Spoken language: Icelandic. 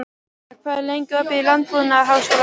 Míra, hvað er lengi opið í Landbúnaðarháskólanum?